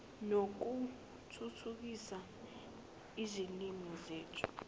nokuthuthukisa izilimi zethu